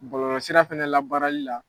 Bɔlɔlɔ sira fɛnɛ labaarali la